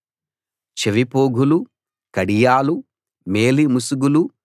చెవిపోగులూ కడియాలూ మేలి ముసుగులూ